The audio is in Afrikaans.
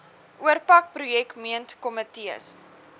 oorpak projek meentkomitees